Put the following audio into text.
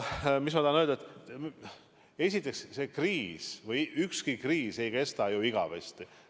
Esiteks, ükski kriis ei kesta igavesti.